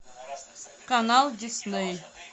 канал дисней